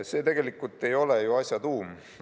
See ei ole ju asja tuum.